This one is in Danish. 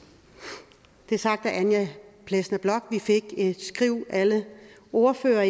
det er sagt af anja plesner bloch alle vi ordførere